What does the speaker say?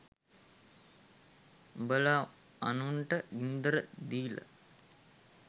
උඔල අනුන්ට ගින්දර දීල